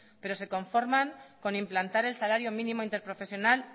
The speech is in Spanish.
pero se conforman con implantar el salario mínimo interprofesional